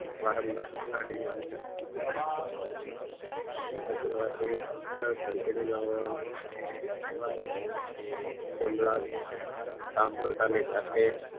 વારંવાર ધટાડી ને એટલું કરવાથી સાવ ઘંટડી નો અવાજ અવાજ સંભાળતો સાંભળવાની સાથે જ